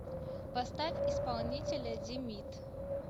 поставь исполнителя димит